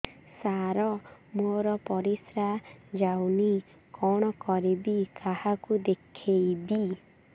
ସାର ମୋର ପରିସ୍ରା ଯାଉନି କଣ କରିବି କାହାକୁ ଦେଖେଇବି